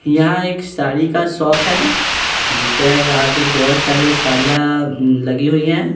यहाँ एक साड़ी का शॉप है जिसके आगे बहुत सारे साड़ियाँ लगी हुई हैं ।